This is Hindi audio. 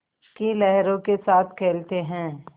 की लहरों के साथ खेलते हैं